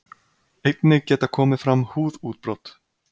Einnig geta komið fram húðútbrot.